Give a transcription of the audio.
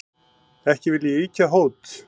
Ekki vil ég ýkja hót,